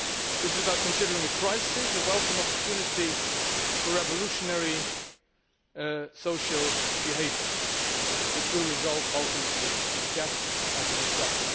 this is about considering a crisis as a welcome opportunity for revolutionary social behaviour which will result ultimately in death as it has done.